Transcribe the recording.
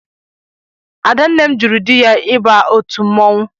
Ada nne m jụrụ di ya ịba otu mmọnwụ